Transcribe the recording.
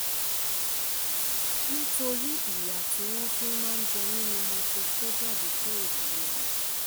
nítorí ìyà tí wọ́n fi máa ń jẹ mí ni mo ṣe kó jáde kúrò nílé wọn